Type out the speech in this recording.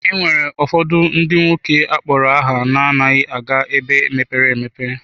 E nwere ụfọdụ ndị nwoke akpọrọ aha na-anaghị aga ebe mepere emepe.